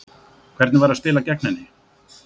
Hvernig var að spila gegn henni?